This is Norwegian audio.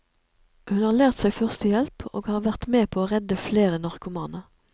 Hun har lært seg førstehjelp og har vært med på å redde flere narkomane.